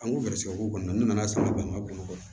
An ko garisigɛ ko kɔni ne nana sanni bɛn n ka bolo kan